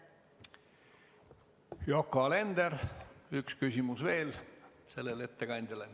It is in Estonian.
Yoko Alender, üks küsimus veel sellele ettekandjale.